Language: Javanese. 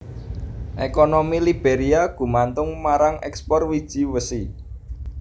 Ekonomi Liberia gumantung marang ekspor wiji wesi